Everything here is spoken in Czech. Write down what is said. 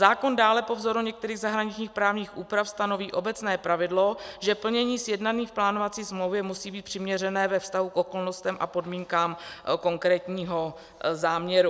Zákon dále po vzoru některých zahraničních právních úprav stanoví obecné pravidlo, že plnění sjednané v plánovací smlouvě musí být přiměřené ve vztahu k okolnostem a podmínkám konkrétního záměru.